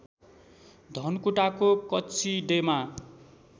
धनकुटाको कचिडेमा